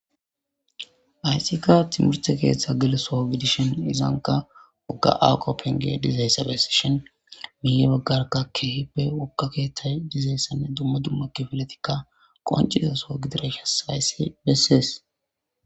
ayssika timurte keeththa gilesoo gidishen izanka wogga awqoppenge dizaysabesi shin mihe baggarka keehippe wokka keeththay dizayssanne dumma dumma kifiletikka qoncizo soo gidire hasayssi bessees